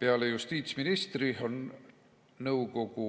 Peale justiitsministri on nõukogu